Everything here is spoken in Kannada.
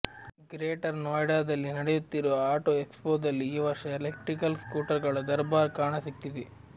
ಗ್ರೇಟರ್ ನೋಯ್ಡಾದಲ್ಲಿ ನಡೆಯುತ್ತಿರುವ ಆಟೋ ಎಕ್ಸ್ಫೋದಲ್ಲಿ ಈ ವರ್ಷ ಎಲೆಕ್ಟ್ರಿಕಲ್ ಸ್ಕೂಟರ್ ಗಳ ದರ್ಬಾರ್ ಕಾಣಸಿಗ್ತಿದೆ